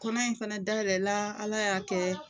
Kɔnɔ in fɛnɛ dayɛlɛla Ala y'a kɛ